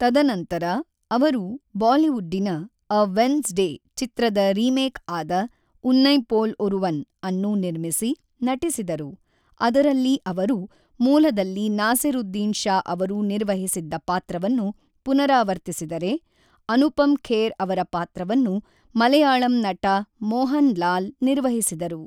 ತದನಂತರ ಅವರು ಬಾಲಿವುಡ್ಡಿನ ʼಎ ವೆನ್ಸ್ಡೇʼ ಚಿತ್ರದ ರಿಮೇಕ್ ಆದ ʼಉನ್ನೈಪೋಲ್ ಒರುವನ್ʼಅನ್ನು ನಿರ್ಮಿಸಿ, ನಟಿಸಿದರು; ಅದರಲ್ಲಿ ಅವರು ಮೂಲದಲ್ಲಿ ನಾಸಿರುದ್ದೀನ್‌ ಷಾ ಅವರು ನಿರ್ವಹಿಸಿದ್ದ ಪಾತ್ರವನ್ನು ಪುನರಾವರ್ತಿಸಿದರೆ, ಅನುಪಮ್ ಖೇರ್ ಅವರ ಪಾತ್ರವನ್ನು ಮಲಯಾಳಂ ನಟ ಮೋಹನ್ ಲಾಲ್ ನಿರ್ವಹಿಸಿದರು.